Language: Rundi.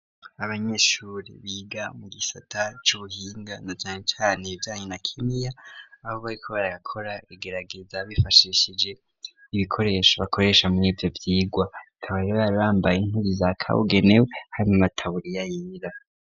abanyeshuri biga mu gisata c'ubuhinga na cane cane ibijanye na kimiya aho bari ko barakora igerageza bifashishije ibikoresho bakoresha murivyo vyigwa Bakaba bari bambaye impuzu za kabugenewe harimwamataburiya yera.